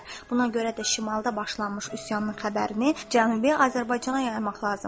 Buna görə də şimalda başlanmış üsyanın xəbərini Cənubi Azərbaycana yaymaq lazımdır.